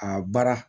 A baara